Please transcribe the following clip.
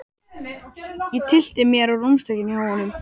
Ég tyllti mér á rúmstokkinn hjá honum.